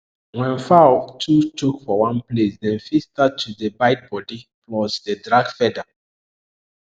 when fowl too choke for one place dem fit start to fight dey bite body plus dey drag feather